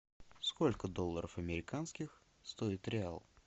сколько долларов американских стоит реал